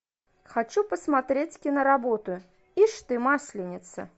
хочу посмотреть киноработу ишь ты масленица